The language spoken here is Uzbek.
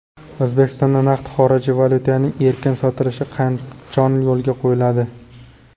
O‘zbekistonda naqd xorijiy valyutaning erkin sotilishi qachon yo‘lga qo‘yiladi?.